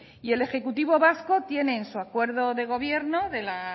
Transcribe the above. el ejecutivo vasco tienen en su acuerdo de gobierno de la